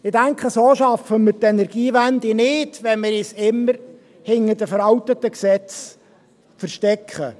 Ich denke, so schaffen wir die Energiewende nicht, wenn wir uns immer hinter den veralteten Gesetzen verstecken.